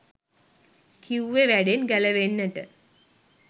කිව්වෙ වැඩෙන් ගැලවෙන්නට